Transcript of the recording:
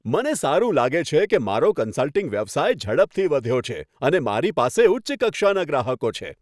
મને સારું લાગે છે કે મારો કન્સલ્ટિંગ વ્યવસાય ઝડપથી વધ્યો છે અને મારી પાસે ઉચ્ચ કક્ષાના ગ્રાહકો છે.